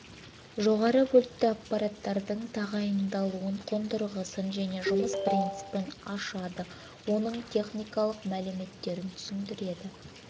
жоғары вольтті аппараттардың тағайындалуын қондырғысын және жұмыс принципін ашады оның техникалық мәліметтерін түсіндіреді